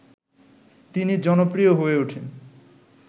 তিনি জনপ্রিয় হয়ে উঠেন